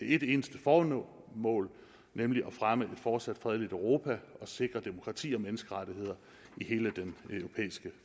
et eneste formål nemlig at fremme et fortsat fredeligt europa og sikre demokrati og menneskerettigheder i hele den europæiske